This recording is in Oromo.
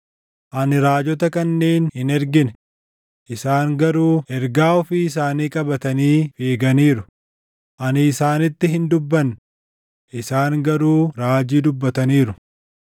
Ani raajota kanneen hin ergine; isaan garuu ergaa ofii isaanii qabatanii fiiganiiru; ani isaanitti hin dubbanne; isaan garuu raajii dubbataniiru.